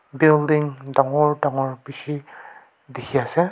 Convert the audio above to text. building dangor dangor bishi dikhiase.